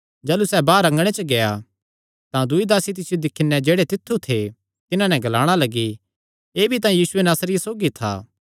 जाह़लू सैह़ बाहर अँगणे च गेआ तां दूई दासी तिसियो दिक्खी नैं जेह्ड़े तित्थु थे तिन्हां नैं ग्लाणा लग्गी एह़ भी तां यीशु नासरिये सौगी था